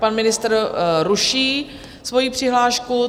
Pan ministr ruší svoji přihlášku.